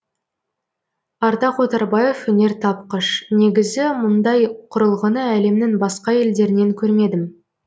ардақ отарбаев өнертапқыш негізі мұндай құрылғыны әлемнің басқа елдерінен көрмедім